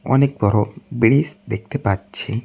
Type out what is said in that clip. অনেক বড় ব্রিজ দেখতে পাচ্ছি।